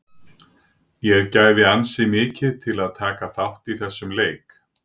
Ég gæfi ansi mikið til að taka þátt í þessum leik.